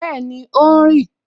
Bẹẹni, ó ń rì